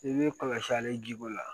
I b'i kɔlɔsi ale jiko la